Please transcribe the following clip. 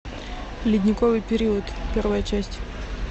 ледниковый период первая часть